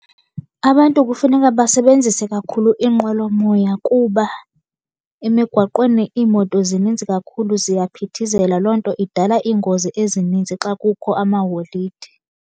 Abantu kufuneka basebenzise kakhulu iInqwelomoya kuba emigwaqweni iimoto zininzi kakhulu ziyaphithizela. Loo nto idala iingozi ezininzi xa kukho amaholide.